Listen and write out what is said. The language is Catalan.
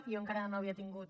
jo encara no havia tingut